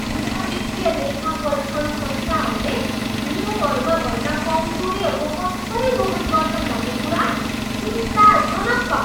ठुला वित्तीय लेखापरीक्षण संस्थाहरूले नियमहरूमा भएका कमजोरीहरूको कसरी दोहन गर्छन् भन्ने कुरा चिन्ताजनक छ।